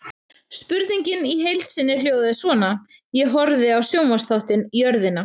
Spurningin í heild sinni hljóðaði svona: Ég horfði á sjónvarpsþáttinn Jörðina.